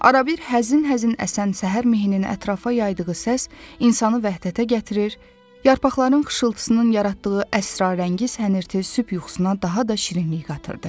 Arabir həzin-həzin əsən səhər mehinini ətrafa yaydığı səs insanı vəhdətə gətirir, yarpaqların xışıltısının yaratdığı əsrarəngiz hənirti sübh yuxusuna daha da şirinlik qatırdı.